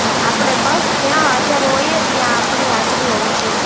આપણે બસ જ્યાં હાજર હોઈએ ત્યાં આપણી હાજરી હોવી જોઈએ